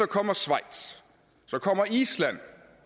kommer schweiz så kommer island